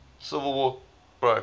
civil war broke